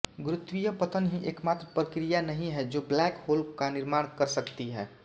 गुरुत्वीय पतन ही एकमात्र प्रक्रिया नहीं है जो ब्लैक होल का निर्माण कर सकती है